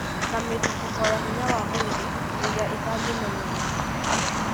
Na mĩthutũko ya hinya wa mwĩrĩ ĩrĩa ĩtangĩmenyererwo.